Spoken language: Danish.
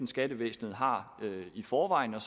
skattevæsenet har i forvejen og